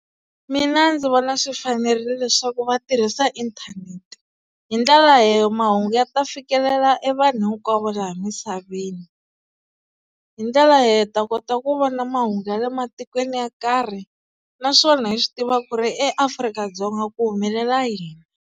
Mina ndzi vona swi fanerile leswaku va tirhisa inthanete hi ndlela leyi mahungu ya ta fikelela e vanhu hinkwavo laha misaveni. Hi ndlela leyi hi ta kota ku vona mahungu ya le matikweni yo karhi naswona hi swi tiva ku ri eAfrika-Dzonga ku humelela yini?